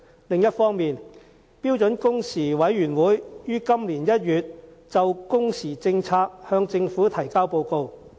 另一方面，標準工時委員會於今年1月就工時政策向政府提交報告。